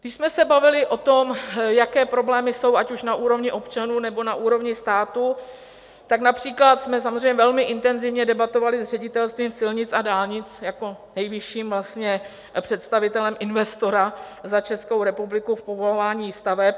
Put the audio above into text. Když jsme se bavili o tom, jaké problémy jsou, ať už na úrovni občanů, nebo na úrovni státu, tak například jsme samozřejmě velmi intenzivně debatovali s Ředitelstvím silnic a dálnic jako nejvyšším představitelem investora za Českou republiku v povolování staveb.